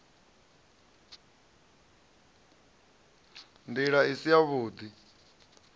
nd ila i si yavhud